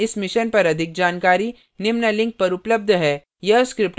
इस mission पर अधिक जानकारी निम्न लिंक पर उपलब्ध है